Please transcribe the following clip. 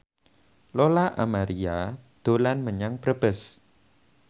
Lola Amaria dolan menyang Brebes